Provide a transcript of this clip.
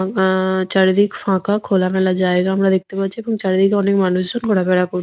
অ্যা অ্যা চারিদিক ফাঁকা খোলামেলা জায়গা আমরা দেখতে পাচ্ছি এবং চারিদিকে অনেক মানুষজন ঘোরাফেরা কর --